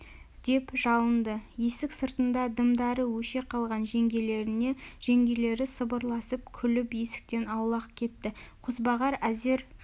деп жалынды есік сыртында дымдары өше қалған жеңгелеріне жеңгелері сыбырласып күліп есіктен аулақ кетті қозбағар әзер